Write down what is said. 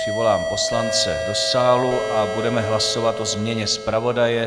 Přivolám poslance do sálu a budeme hlasovat o změně zpravodaje.